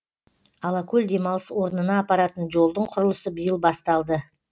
алакөл демалыс орнына апаратын жолдың құрылысы биыл басталды